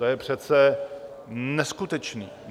To je přece neskutečné.